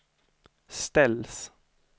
ställs